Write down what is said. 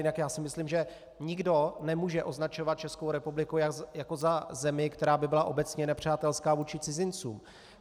Jinak já si myslím, že nikdo nemůže označovat Českou republiku jako za zemi, která by byla obecně nepřátelská vůči cizincům.